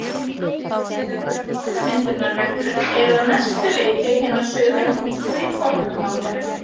Íslenskar orðmyndunarreglur eru að mestu leyti hinar sömu nú og í forna málinu.